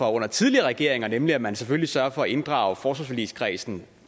under tidligere regeringer nemlig at man selvfølgelig sørger for at inddrage forsvarsforligskredsen